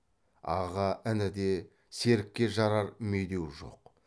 аға ініде серікке жарар медеу жоқ